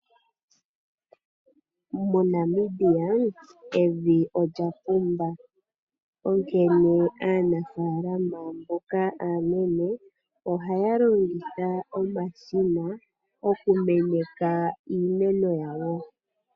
MoNamibia evi olya pumba onkene aanafalama mboka aanene oha ya longitha omashina okumeneka iimeno yawo.